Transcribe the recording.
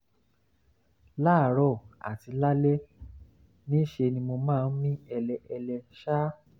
láàárọ̀ àti lálẹ́ ní í ṣe ni mo máa ń mí hẹlẹhẹlẹ ṣáá